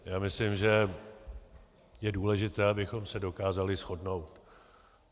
Já myslím, že je důležité, abychom se dokázali shodnout.